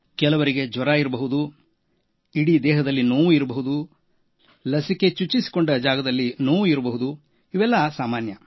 ಕೆಲವರಿಗೆ ಜ್ವರ ಬಂದಿರಬಹುದು ಇಡೀ ದೇಹದಲ್ಲಿ ನೋವು ಲಸಿಕೆ ಹಾಕಿಸಿಕೊಂಡ ಜಾಗದಲ್ಲಿ ನೋವು ಇವು ಸಾಮಾನ್ಯ